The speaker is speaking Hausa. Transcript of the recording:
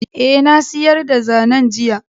Ae, Na siyar da zanen, jiya.